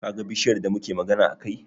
Kaga bishiyar da muke magana a kai?